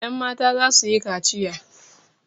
Yanmata za su yi kaciya.